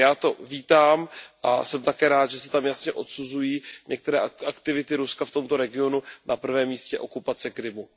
Takže já to vítám a jsem také rád, že se tam jasně odsuzují některé aktivity Ruska v tomto regionu, na prvém místě okupace Krymu.